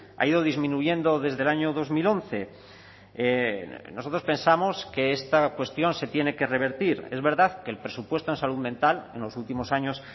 ha ido disminuyendo desde el año dos mil once nosotros pensamos que esta cuestión se tiene que revertir es verdad que el presupuesto en salud mental en los últimos años